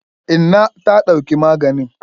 Inna ta dauki maganin.